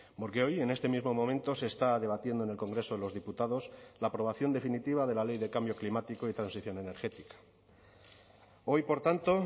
porque hoy en este mismo momento se está debatiendo en el congreso de los diputados la aprobación definitiva de la ley de cambio climático y transición energética hoy por tanto